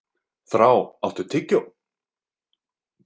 Þrá, áttu tyggjó?